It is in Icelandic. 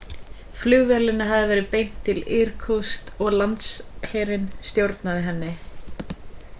flugvélinni hafði verið beint til irkutsk og landsherinn stjórnaði henni